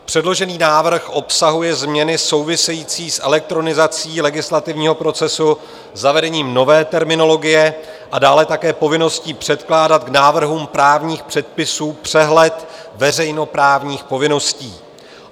Předložený návrh obsahuje změny související s elektronizací legislativního procesu, zavedením nové terminologie a dále také povinností předkládat k návrhům právních předpisů přehled veřejnoprávních povinností.